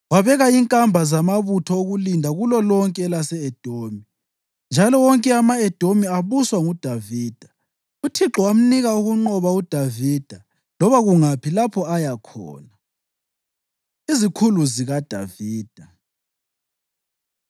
Wabeka inkamba zamabutho okulinda kulolonke elase-Edomi, njalo wonke ama-Edomi abuswa nguDavida. UThixo wamnika ukunqoba uDavida loba kungaphi lapho aya khona. Izikhulu ZikaDavida